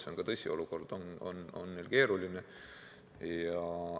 See on tõsi, olukord on neil keeruline.